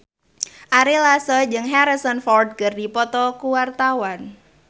Ari Lasso jeung Harrison Ford keur dipoto ku wartawan